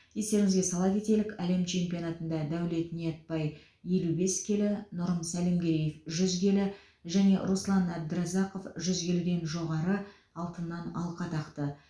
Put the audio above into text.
естеріңізге сала кетелік әлем чемпионатында дәулет ниетбай елу бес келі нұрым сәлімгереев жүз келі және руслан әбдіразақов жүз келіден жоғары алтыннан алқа тақты